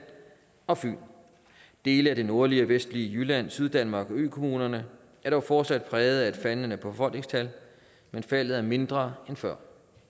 og fyn dele af det nordlige og vestlige jylland syddanmark og økommunerne er dog fortsat præget af et faldende befolkningstal men faldet er mindre end før